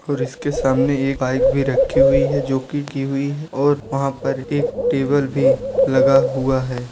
और इसके सामने एक बाइक भी रखी हुई है जो कि हुई है और वहाँ पर एक टेबल भी लगा हुआ है।